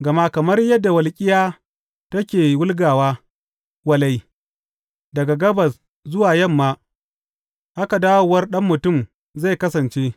Gama kamar yadda walƙiya take wulgawa walai daga gabas zuwa yamma, haka dawowar Ɗan Mutum zai kasance.